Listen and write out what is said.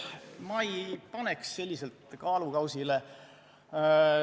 Ma ei paneks neid selliselt kaalukausile.